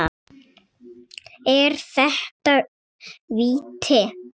Er þetta víti?